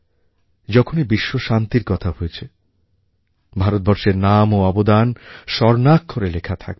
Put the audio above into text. যখনই বিশ্বশান্তির কথা হয়েছে ভারতবর্ষের নাম ও অবদান স্বর্ণাক্ষরে লেখা থাকবে